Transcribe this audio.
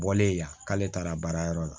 Bɔlen ya k'ale taara baarayɔrɔ la